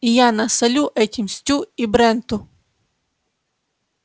и я насолю этим стю и бренту